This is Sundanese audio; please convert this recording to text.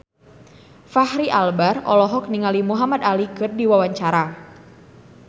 Fachri Albar olohok ningali Muhamad Ali keur diwawancara